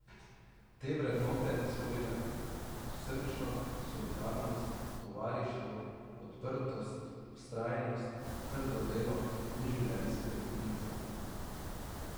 Ta vrednote so bile srčnost, solidarnost, tovarištvo, odprtost, vztrajnost, trdo delo in življenjski optimizem.